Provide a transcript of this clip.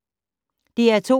DR2